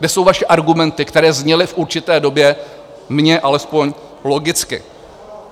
Kde jsou vaše argumenty, které zněly v určité době mně alespoň logicky?